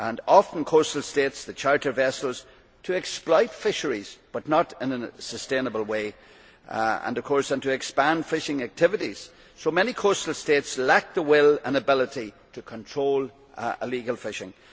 Often coastal states charter vessels to exploit fisheries but not in a sustainable way, and of course to expand fishing activities, so many coastal states lack the will and ability to control illegal fishing.